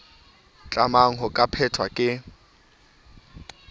tlamang ho ka phethwa ke